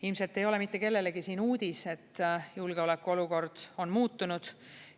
Ilmselt ei ole mitte kellelegi uudis, et julgeoleku olukord on muutunud.